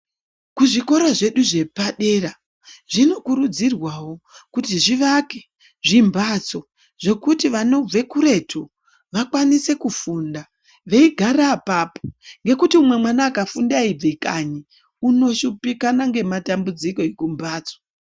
Kuzvikoro zvedu zvepadera ,zvinokurudzirwawo kuti zvivake zvimbatso zvekuti vanobve kuretu vakwanise kufunda veigara papo, ngekuti umwe mwana akafunde eyibve kanyi unoshupikana ngematambudziko ekumbatso.